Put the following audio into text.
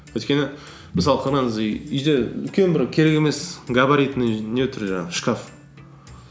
өйткені мысалы қараңыз үйде үлкен бір керек емес габаритный не тұр жаңағы шкаф